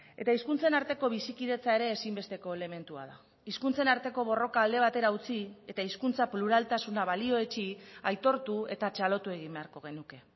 eta hizkuntzen arteko bizikidetza ere ezinbesteko elementua da hizkuntzen arteko borroka alde batera utzi eta hizkuntza pluraltasuna balioetsi aitortu eta txalotu egin beharko genuke